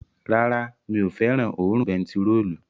Rárá, mi ò fẹ́ràn òórùn bentiróòlù